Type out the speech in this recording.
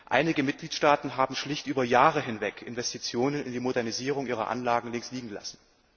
Einige Mitgliedstaaten haben schlicht über Jahre hinweg Investitionen in die Modernisierung ihrer Anlagen links liegen lassen.